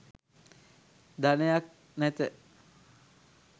ධනයක් නැත